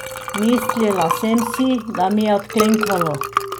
Mislila sem si, da mi je odklenkalo.